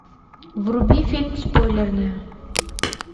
вруби фильм спойлерная